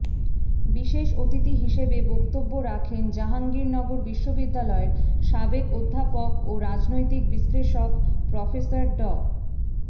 বিশেষ অতিথি হিসেবে বক্তব্য রাখেন জাহাঙ্গীরনগর বিশ্ববিদ্যালয়ের সাবেক অধ্যাপক ও রাজনৈতিক বিশ্লেষক প্রফেসর ড